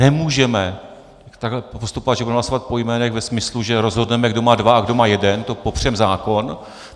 Nemůžeme takhle postupovat, že budeme hlasovat po jménech ve smyslu, že rozhodneme, kdo má dva a kdo má jeden, to popřeme zákon.